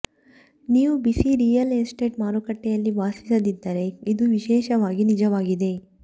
ನೀವು ಬಿಸಿ real estate ಮಾರುಕಟ್ಟೆಯಲ್ಲಿ ವಾಸಿಸದಿದ್ದರೆ ಇದು ವಿಶೇಷವಾಗಿ ನಿಜವಾಗಿದೆ